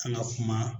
An ka kuma